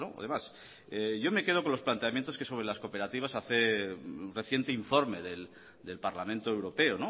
además yo me quedo con los planteamientos que sobre las cooperativas hace el reciente informe del parlamento europeo